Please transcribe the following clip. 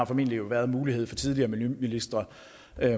formentlig været mulighed for tidligere miljøministre